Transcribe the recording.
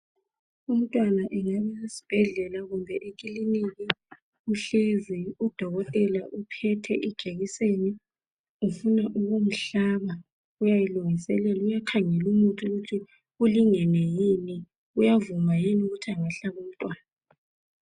Umntwana engabe usesibhedlela kumbe ekiliki, uhlezi udokotela uphethe ijekiseni ufuna ukumhlaba. Uyayilungiselela, uyakhangela umuthi ukuthi ulingene yini, uyavuma yini ukuthi angahlaba umntwana.